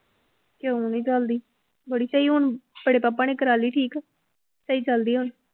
ਕਿਉਂ ਨੀ ਚੱਲਦੀ, ਬੜੀ ਸਹੀ ਹੁਣ ਬੜੇ ਪਾਪਾ ਨੇ ਕਰਵਾ ਲਈ ਠੀਕ, ਸਹੀ ਚੱਲਦੀ ਆ ਹੁਣ।